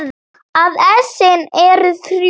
að essin eru þrjú!